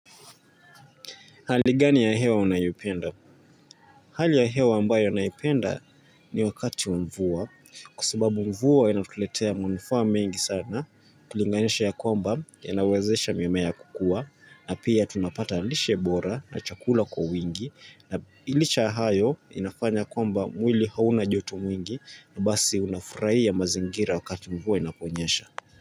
Hali gani ya hewa unayoipenda? Hali ya hewa ambayo naipenda ni wakati wa mvua kwa sababu mvua yanatuletea manufaa mengi sana ukilinganisha ya kwamba yanawezesha mimea kukuwa na pia tunapata lishe bora na chakula kwa wingi na licha ya hayo inafanya kwamba mwili hauna joto mwingi na basi unafurahia mazingira wakati mvua inaponyesha.